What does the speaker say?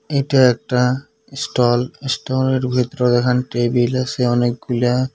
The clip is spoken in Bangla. এটা একটা এ এস্টোলের ভিতর দেখান টেবিল আসে অনেকগুলা।